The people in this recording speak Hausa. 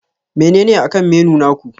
Menene akan menu naku?